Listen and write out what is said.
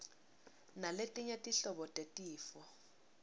naletinye tinhlobo tetifo